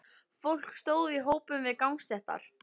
Fólk stóð í hópum við gangstéttar.